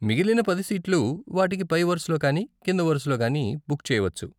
మిగిలిన పది సీట్లు వాటికి పై వరుసలో కానీ కింద వరుసలో కానీ బుక్ చేయవచ్చు.